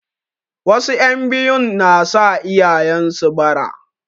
Wasu 'yan biyun na sa iyayen su bara.